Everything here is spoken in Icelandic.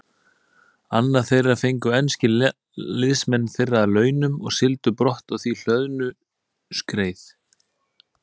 Annað þeirra fengu enskir liðsmenn þeirra að launum og sigldu brott á því hlöðnu skreið.